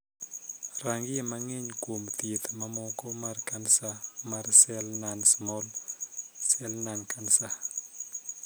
Rangie mang'eny kuom thieth mamoko mar kansa mar sel non 'small cell lung cancer'.